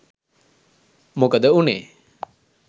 මොකද උනේ.